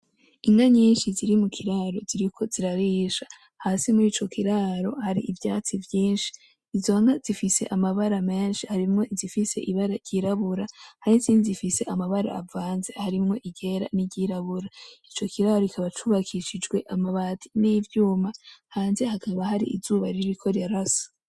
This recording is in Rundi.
Inka nyinshi ziri mu kiraro ziriko zirarisha hasi murico kiraro hari ivyatsi vyinshi, izo nka zifise amabara menshi harimwo izifise ibara ry'irabura hari izindi izifise amabara avanze harimwo iryera niry'irabura ico kiraro kikaba cubakishijwe amabati n'ivyuma hanze hakaba hari izuba ririko rirasa.